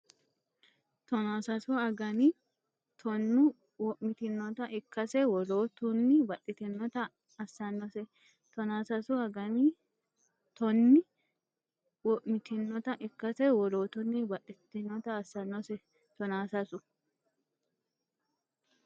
Tonaa sasu again tonni wo’mitinota ikkase wolootunni baxxitinota assannose Tonaa sasu again tonni wo’mitinota ikkase wolootunni baxxitinota assannose Tonaa sasu.